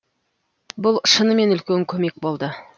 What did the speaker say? бұл шынымен үлкен көмек болды